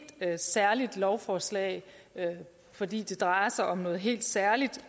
særligt lovforslag fordi det drejer sig om noget helt særligt